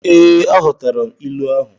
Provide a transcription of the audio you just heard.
Ee, aghotara m ilu ahụ.